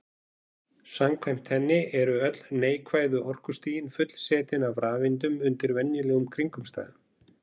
samkvæmt henni eru öll neikvæðu orkustigin fullsetin af rafeindum undir venjulegum kringumstæðum